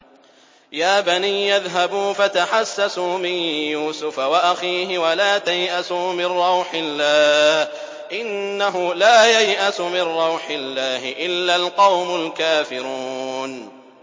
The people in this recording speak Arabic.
يَا بَنِيَّ اذْهَبُوا فَتَحَسَّسُوا مِن يُوسُفَ وَأَخِيهِ وَلَا تَيْأَسُوا مِن رَّوْحِ اللَّهِ ۖ إِنَّهُ لَا يَيْأَسُ مِن رَّوْحِ اللَّهِ إِلَّا الْقَوْمُ الْكَافِرُونَ